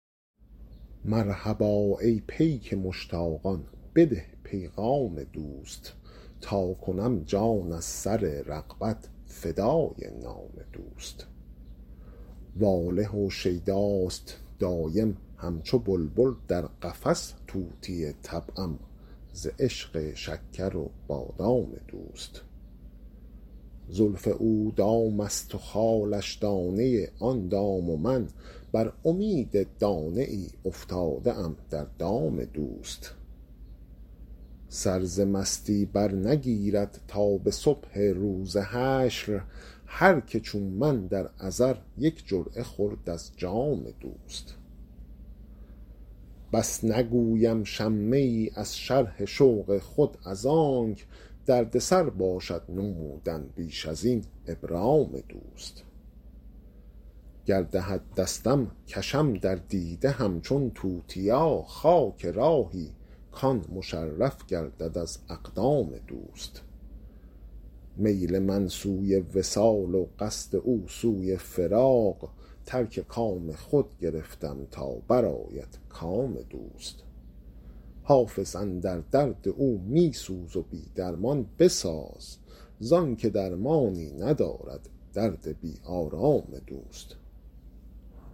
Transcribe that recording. مرحبا ای پیک مشتاقان بده پیغام دوست تا کنم جان از سر رغبت فدای نام دوست واله و شیداست دایم همچو بلبل در قفس طوطی طبعم ز عشق شکر و بادام دوست زلف او دام است و خالش دانه آن دام و من بر امید دانه ای افتاده ام در دام دوست سر ز مستی برنگیرد تا به صبح روز حشر هر که چون من در ازل یک جرعه خورد از جام دوست بس نگویم شمه ای از شرح شوق خود از آنک دردسر باشد نمودن بیش از این ابرام دوست گر دهد دستم کشم در دیده همچون توتیا خاک راهی کـ آن مشرف گردد از اقدام دوست میل من سوی وصال و قصد او سوی فراق ترک کام خود گرفتم تا برآید کام دوست حافظ اندر درد او می سوز و بی درمان بساز زان که درمانی ندارد درد بی آرام دوست